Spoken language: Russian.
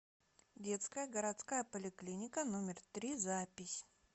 детская городская поликлиника номер три запись